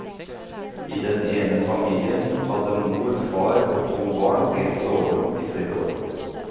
I den ene familien hadde mor, far og to barn delt soverom i flere år.